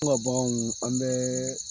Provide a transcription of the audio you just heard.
yani ka bagan ɲini , an bɛ